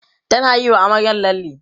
tana Yi wa amaryar lalle